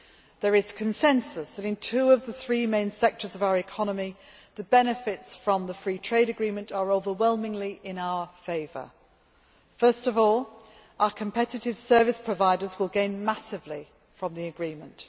There is consensus in that in two of the three main sectors of our economy, the benefits from the free trade agreement are overwhelmingly in our favour first of all, our competitive service providers will gain massively from the agreement.